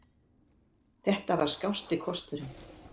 Þetta var skásti kosturinn.